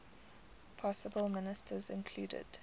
possible ministers included